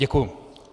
Děkuji.